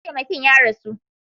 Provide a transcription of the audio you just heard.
Mataimakin ya rasu.